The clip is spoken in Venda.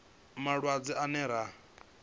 malwadze ane ra a vhidza